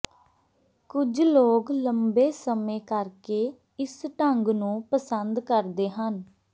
ਕੁਝ ਲੋਕ ਲੰਬੇ ਸਮੇਂ ਕਰਕੇ ਇਸ ਢੰਗ ਨੂੰ ਪਸੰਦ ਕਰਦੇ ਹਨ